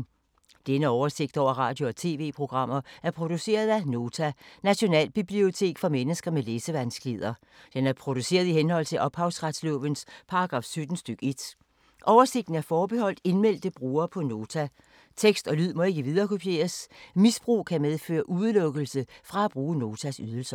Denne oversigt over radio og TV-programmer er produceret af Nota, Nationalbibliotek for mennesker med læsevanskeligheder. Den er produceret i henhold til ophavsretslovens paragraf 17 stk. 1. Oversigten er forbeholdt indmeldte brugere på Nota. Tekst og lyd må ikke viderekopieres. Misbrug kan medføre udelukkelse fra at bruge Notas ydelser.